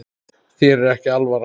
Þér er ekki alvara